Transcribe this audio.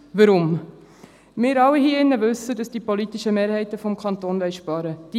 Weshalb? – Wir alle hier wissen, dass die politischen Mehrheiten im Kanton sparen wollen.